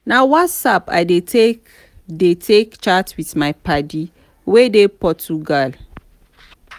na whatsapp i dey take dey take chat with my paddy wey dey portugal.